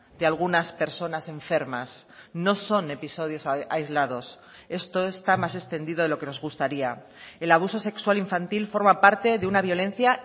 de algunas personas enfermas no son episodios aislados esto está más extendido de lo que nos gustaría el abuso sexual infantil forma parte de una violencia